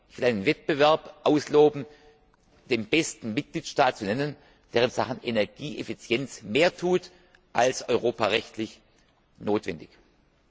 Ich will einen Wettbewerb ausloben, den besten Mitgliedstaat zu nennen, der in Sachen Energieeffizienz mehr tut als europarechtlich notwendig ist.